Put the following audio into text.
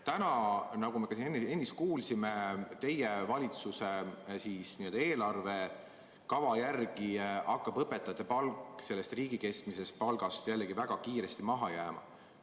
Täna, nagu me ennist kuulsime, teie valitsuse eelarvekava järgi hakkab õpetajate palk riigi keskmisest palgast jälle väga kiiresti maha jääma.